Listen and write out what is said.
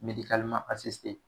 Medikaliman asisite